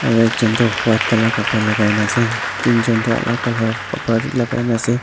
aru ekjun Tu white colour lagaikena ase tinjun Tu alak colour khapra wi lagaigena ase.